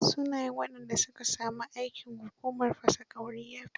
Shnayen waɗanda su ka sami aikin hukumar fasa ƙauri ya fito.